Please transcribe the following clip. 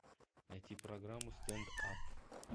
найти программу стендап